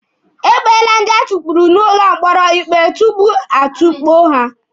E kpeele ndị atukpuru n'ụlọ mkpọrọ ikpe tupu a tukpuo ha.